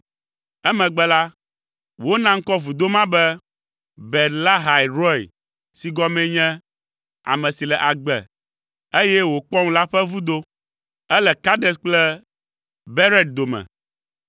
Emegbe la, wona ŋkɔ vudo ma be Beer Lahai Roi si gɔmee nye, “Ame si le agbe, eye wòkpɔm la ƒe vudo.” Ele Kades kple Bered dome.